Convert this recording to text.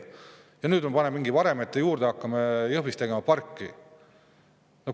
Ja kas nüüd siis mingite varemete juurde hakkame Jõhvis tegema parki?